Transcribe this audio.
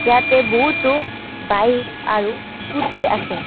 ইয়াতে বহুতো বাইক আৰু স্কুটী আছে।